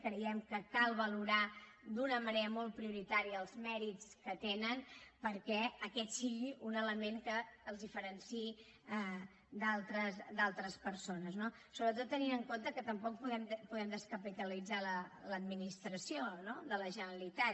creiem que cal valorar d’una manera molt prioritària els mèrits que tenen perquè aquest sigui un element que les diferenciï d’altres persones no sobretot tenint en compte que tampoc podem descapitalitzar l’administració de la generalitat